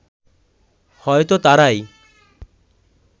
হয়তো তারাই